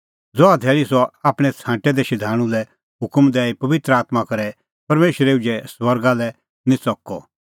ज़हा धैल़ी सह आपणैं छ़ांटै दै शधाणूं लै हुकम दैई पबित्र आत्मां करै परमेशरै उझै स्वर्गा लै निं च़कअ